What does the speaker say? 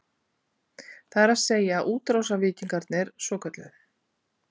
Það er að segja, útrásarvíkingarnir svokölluðu?